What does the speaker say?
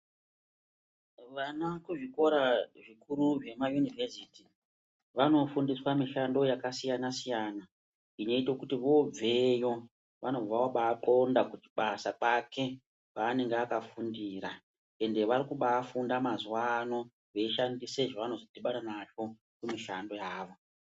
Vana kuzvikora zvikuru zvema yunivhesiti vanofundiswe mishando yakasiyana siyana inoita kuti voobveyo vanobva vobaakona kuchibasa kwake kwaanenge akafundira ende varikubafunda mazuva ano veishandise zvevanozodhibana nazvo mumishando yavo.